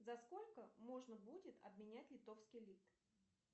за сколько можно будет обменять литовский лит